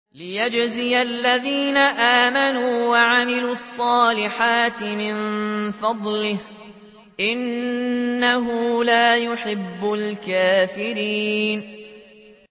لِيَجْزِيَ الَّذِينَ آمَنُوا وَعَمِلُوا الصَّالِحَاتِ مِن فَضْلِهِ ۚ إِنَّهُ لَا يُحِبُّ الْكَافِرِينَ